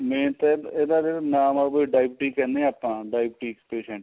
main ਤਾਂ ਇਹਦਾ ਜਿਹੜਾ ਨਾਮ ਏ ਓ deity ਕਿਹਨੇ ਆ ਆਪਾਂ deity patient